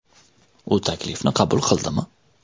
U taklifni qabul qildimi?